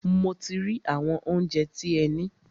Mo ti rí àwọn óunjẹ tí ẹ ní.